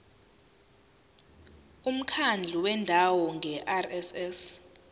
umkhandlu wendawo ngerss